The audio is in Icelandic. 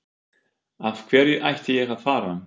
Af hverju ætti ég að fara?